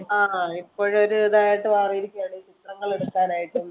ആഹ് ഇപ്പൊ ഒരു ഇതായിട്ട് മാറിയിരിക്കുകയാണ് ചിത്രങ്ങൾ എടുക്കാനായിട്ടും